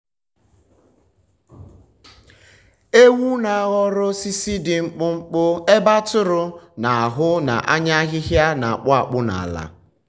um ewu na-ahọrọ osisi dị mkpụmkpụ ebe atụrụ na-ahụ n’anya ahịhịa na-akpụ akpụ n’ala.